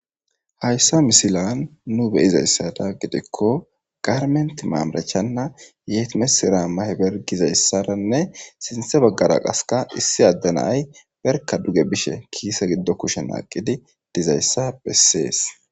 Hayssa misilan nu beyizayssada gidekko garment maamarachanna yetimesira maheber gizayssaranne sinthe baggara qaska issi addenay berka duge bishe kiise giddo kushen aaqidi dizayssa bessees.